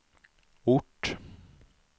ort